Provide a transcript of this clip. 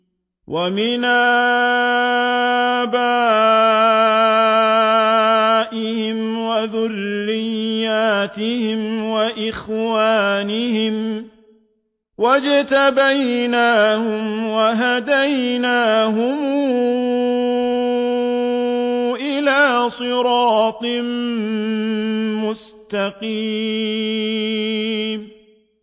وَمِنْ آبَائِهِمْ وَذُرِّيَّاتِهِمْ وَإِخْوَانِهِمْ ۖ وَاجْتَبَيْنَاهُمْ وَهَدَيْنَاهُمْ إِلَىٰ صِرَاطٍ مُّسْتَقِيمٍ